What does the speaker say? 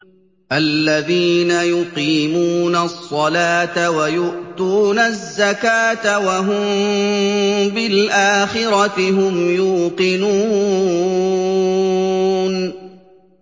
الَّذِينَ يُقِيمُونَ الصَّلَاةَ وَيُؤْتُونَ الزَّكَاةَ وَهُم بِالْآخِرَةِ هُمْ يُوقِنُونَ